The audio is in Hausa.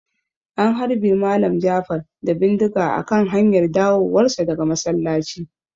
An harbe Malam Jafar da bindiga a kan hanyar dawowar sa daga masallaci